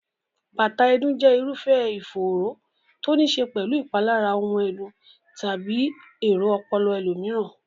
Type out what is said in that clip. bátàà ẹ̀dùn jẹ́ irúfẹ́ ìfòòró to níí ṣe pẹ̀lú ìpalára ohun ẹ̀dùn tàbí èrò ọpọlọ ẹlòmíràn.